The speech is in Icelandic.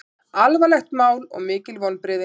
Alvarlegt mál og mikil vonbrigði